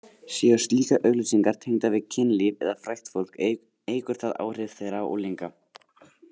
Séu slíkar auglýsingar tengdar við kynlíf eða frægt fólk eykur það áhrif þeirra á unglinga.